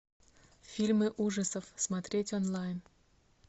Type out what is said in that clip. фильмы ужасов смотреть онлайн